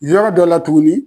Yɔrɔ dɔ la tuguni